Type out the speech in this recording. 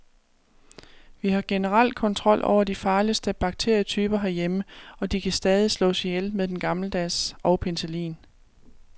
Vi har generelt kontrol over de farligste bakterietyper herhjemme, og de kan stadig slås ihjel med den gammeldags og penicillin.